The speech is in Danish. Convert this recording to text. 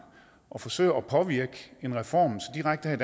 og forsøger at påvirke en reform så direkte her